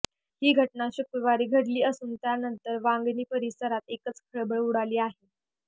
ही घटना शुक्रवार घडली असून यानंतर वांगणी परिसरात एकच खळबळ उडाली आहे